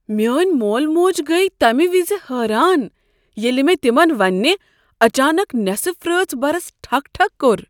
میٛٲنۍ مول موج گٔیہ تمہِ وِزِ حٲران، ییٚلہِ مے تِمن وننہِ اچانک نیصف رٲژ برس ٹھُک ٹھُک كوٚر۔